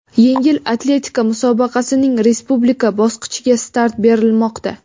Yengil atletika musobaqasining respublika bosqichiga start berilmoqda.